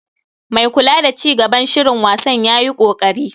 Mai kula da ci gaban shirin wasan yayi koƙari.